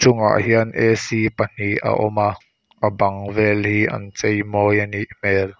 bangah hian pahnih a awm a a bang vel hi an chei mawi a nih hmel.